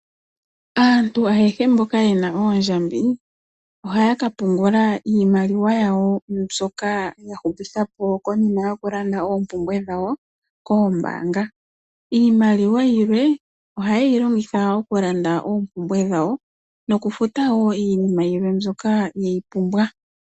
Aantu ayehe mboka yena oondjambi, ohaya ka pungula iimaliwa yawo mbyoka ya hupitha po konima yoku landa oompumbwe dhawo koombaanga. Iimaliwa yilwe, oha yeyi longitha oku landa oompumbwe dhawo, noku futa wo iinima yilwe mbyoka yeyi pumbwa.